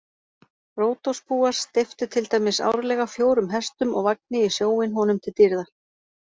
Ródosbúar steyptu til dæmis árlega fjórum hestum og vagni í sjóinn honum til dýrðar.